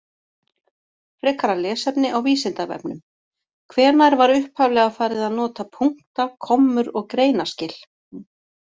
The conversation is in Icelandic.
Frekara lesefni á Vísindavefnum: Hvenær var upphaflega farið að nota punkta, kommur og greinaskil?